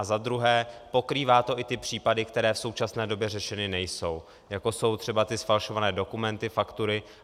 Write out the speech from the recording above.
A za druhé, pokrývá to i ty případy, které v současné době řešeny nejsou, jako jsou třeba ty zfalšované dokumenty, faktury.